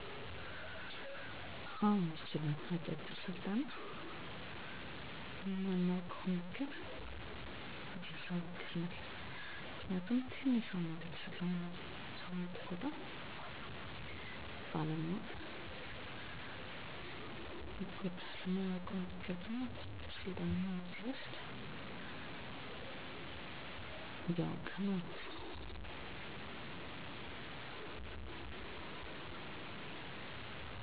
አጫጭር የሞያ ስልጠናዎች ሰዎችን ይረዳሉ ብለው ያስባሉ አዎ አስባለሁ እንዴት ምሳሌ አንድ ሰው አጭር ስልጠናዎችን ካለው ልምድ ጋር በማዋሀድ ለውጥ ሊያመጣ ይችላል በተፈጥሮ ያለውን እውቀት በዘመናዊ መንገድ በሚያገኘው ስልጠና በመታገዝ አንድ ደረጃ ከፍ ማድረግ ይችላል ደግሞም አዋጭ ነው ምሳሌ በልምድ ፀጉር መስራት የሚችል ሰው የተለያዮ የፀጉር አሰራር አይነት በስለጠና ቢሰጠው የተሻለ የፀጉር ባለሙያ ሊሆን ይችላል እንዲሁም ሌሎች እንደልብስ ስፌት የኮምፒተር መሠረታዊ እውቀቶች የምግብ ዝግጅት የመሳሰሉት